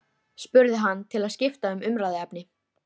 Það var ekki frítt við að hún væri hneyksluð.